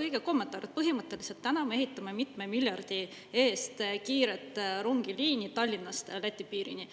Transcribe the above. õige kommentaar, et põhimõtteliselt täna me ehitame mitme miljardi eest kiiret rongiliini Tallinnast Läti piirini.